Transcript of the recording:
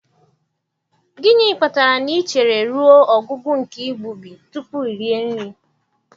Gịnị kpatara na i chere ruo ọgwụgwụ nke igbubi tupu iri nri?